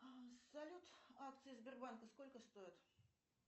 салют акции сбербанка сколько стоят